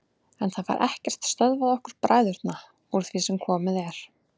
En það fær ekkert stöðvað okkur bræðurna úr því sem komið er.